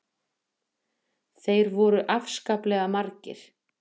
Þeir voru svo afskaplega margir.